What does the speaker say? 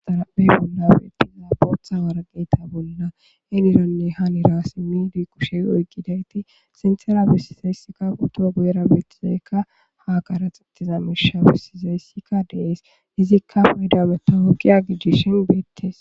Xaraphe bolla betiza bootha waraqata bolla heniranne hanira simid kushe oyqidayt sinthera besizaysika poto guyera betizayka ha qaraxetiza misha besizaysika de'es,izika fayda matawoqiya gidishn betesi.